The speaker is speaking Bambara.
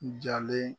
N jalen